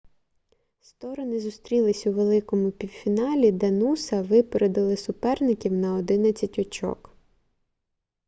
сторони зустрілись у великому півфіналі де нуса випередили суперників на 11 очок